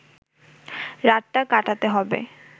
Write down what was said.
রাতটা কাটাতে হবে